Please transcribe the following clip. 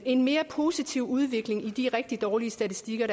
en mere positiv udvikling i de rigtig dårlige statistikker